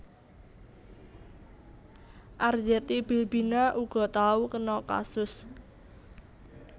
Arzetti Bilbina uga tau kena kasus